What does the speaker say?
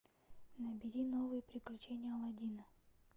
набери новые приключения аладдина